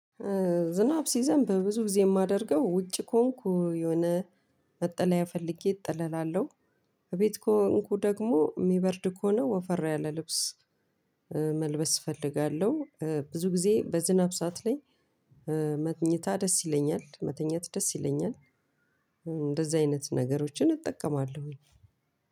ዝናብ ሲዘንብ ብዙ ጊዜ የማደርገው ውጭ ከሆንኩ የሆነ መጠለያ ፈልጌ እጠለላለሁ። እቤት ከሆንኩ ደግሞ የሚበርድ ከሆነ ወፈር ያለ ልብስ መልበስ እፈልጋለሁ። ብዙ ጊዜ በዝናብ ሰዓት ላይ። መኝታ ደስ ይለኛል መተኛት ደስ ይለኛል። እንደዚ አይነት ነገሮችን እጠቀማለሁኝ።